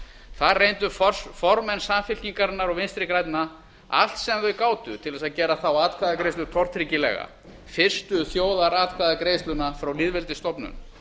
þar reyndu formenn samfylkingarinnar og vinstri grænna allt sem þau gátu til þess að gera þá atkvæðagreiðslu tortryggilega fyrstu þjóðaratkvæðagreiðsluna frá lýðveldisstofnun